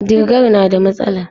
Digar na da matsala.